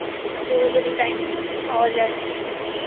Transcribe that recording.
আর তোর ও যদি Time পাওয়া যায়I